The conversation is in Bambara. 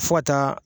Fo ka taa